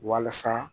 Walasa